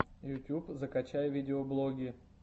ютуб закачай видеоблоги